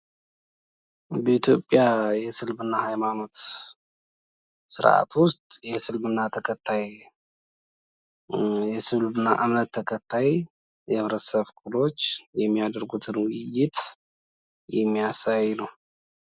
በኢትዮጵያ የእስልምና ሃይማኖት ስርኣት ውስጥ የእስልምና እምነት ተከታይ የ ህብረተሰብ ክፍሎች የሚያረጉትን ውይይት የሚያሳይ ነው፡፡